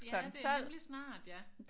Ja det er rimelig snart ja